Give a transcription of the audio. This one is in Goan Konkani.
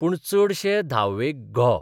पूण चडशे धावेक घो.